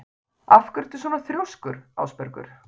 Af hverju ertu svona þrjóskur, Ásbergur?